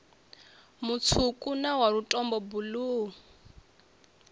mutswuku na wa lutombo buluu